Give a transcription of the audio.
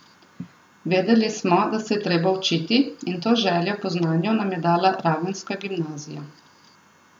Vedeli smo, da se je treba učiti, in to željo po znanju nam je dala ravenska gimnazija.